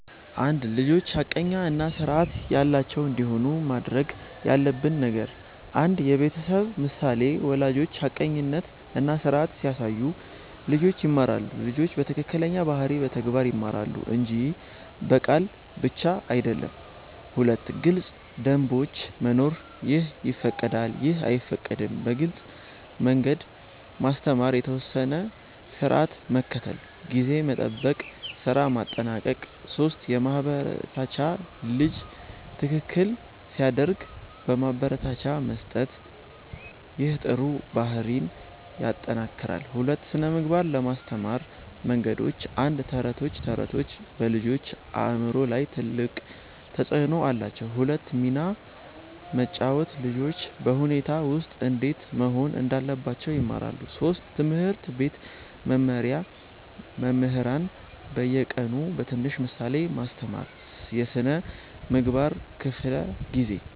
1) ልጆች ሐቀኛ እና ስርዓት ያላቸው እንዲሆኑ ማድረግ ያለብን ነገር 1. የቤተሰብ ምሳሌ ወላጆች ሐቀኝነት እና ስርዓት ሲያሳዩ ልጆች ይማራሉ ልጆች ከትክክለኛ ባህሪ በተግባር ይማራሉ እንጂ በቃል ብቻ አይደለም 2. ግልጽ ደንቦች መኖር “ይህ ይፈቀዳል / ይህ አይፈቀድም” በግልጽ መንገድ ማስተማር የተወሰነ ስርዓት መከተል (ጊዜ መጠበቅ፣ ስራ ማጠናቀቅ 3 ማበረታቻ ልጅ ትክክል ሲያደርግ ማበረታቻ መስጠት ይህ ጥሩ ባህሪን ይጠናክራል 2) ስነ ምግባር ለማስተማር መንገዶች 1. ተረቶች ተረቶች በልጆች አእምሮ ላይ ትልቅ ተፅዕኖ አላቸው 2 ሚና መጫወት ልጆች በሁኔታ ውስጥ እንዴት መሆን እንዳለባቸው ይማራሉ 3. ትምህርት ቤት መመሪያ መምህራን በየቀኑ በትንሽ ምሳሌ ማስተማር የስነ ምግባር ክፍለ ጊዜ